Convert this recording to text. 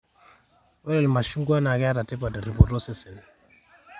ore ilmashung'ua naa keeta tipat terripoto osesen